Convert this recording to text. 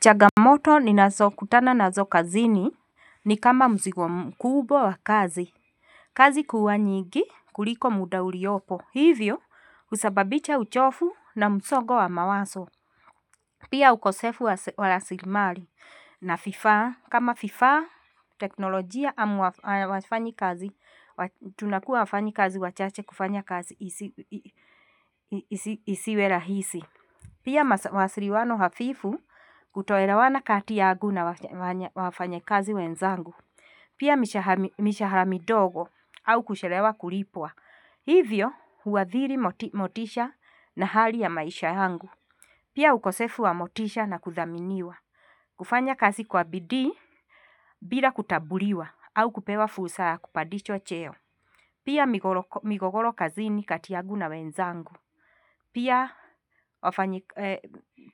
Changamoto ninazo kutana nazo kazini ni kama mzigo kubwa wa kazi. Kazi kuwa nyingi kuliko muda uliopo. Hivyo husababisha uchovu na msongo wa mawazo. Pia ukosefu wa rasilimali na vifaa. Kama vifaa, teknolojia, ama wafanyikazi. Tunakuwa wafanyikazi wa chache kufanya kazi isiwe rahisi. Pia mawasiliano hafifu, kutoelewana kati yangu na wafanyikazi wenzangu. Pia mishahara midogo, au kuchelewa kulipwa. Hivyo huadhiri motisha na hali ya maisha yangu. Pia ukosefu wa motisha na kuthaminiwa. Kufanya kazi kwa bidii bila kutambuliwa, au kupewa fursa ya kupandishwa cheo. Pia migogoro kazini kati yangu na wenzangu.